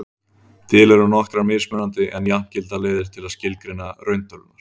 til eru nokkrar mismunandi en jafngildar leiðir til að skilgreina rauntölurnar